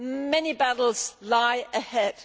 Many battles lie ahead.